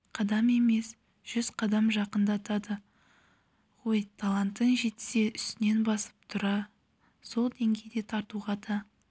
қадам емес жүз қадам жақындатады ғой талантың жетсе үстінен басып тура сол деңгейде тартуға да